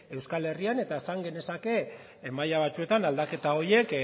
euskal herrian eta esan genezake maila batzuetan aldaketa horiek